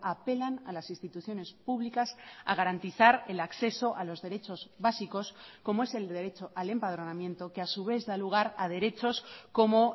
apelan a las instituciones públicas a garantizar el acceso a los derechos básicos como es el derecho al empadronamiento que a su vez da lugar a derechos como